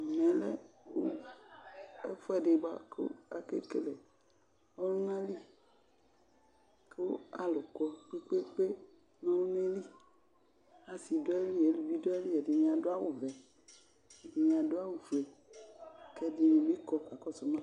Ɛmɛ lɛ ɛfʋɛdɩ bʋa kʋ akele ɔlʋnali kʋ alʋ kɔ kpekpekpe n'ɔlʋnayɛ li, asɩ dʋ ayili, eluvi, ɛdɩni adʋ awʋ vɛ, ɛdɩnɩ adʋ awʋ fue, k'ɛdɩnɩ bɩ kɔ k'akɔsʋ ma